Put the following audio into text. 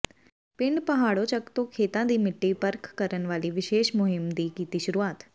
ਪਿੰਡ ਪਹਾੜੋਚੱਕ ਤੋਂ ਖੇਤਾਂ ਦੀ ਮਿੱਟੀ ਪਰਖ ਕਰਨ ਵਾਲੀ ਵਿਸ਼ੇਸ਼ ਮੁਹਿੰਮ ਦੀ ਕੀਤੀ ਸ਼ੁਰੂਆਤ